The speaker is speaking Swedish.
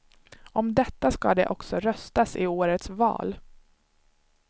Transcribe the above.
Om detta ska det också röstas i årets val.